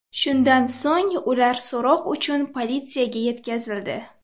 Shundan so‘ng ular so‘roq uchun politsiyaga yetkazildi.